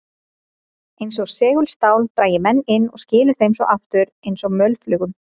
Eins og segulstál drægi menn inn og skili þeim svo aftur eins og mölflugum.